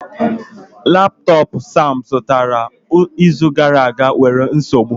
Laptọọpụ Sam zụtara izu gara aga nwere nsogbu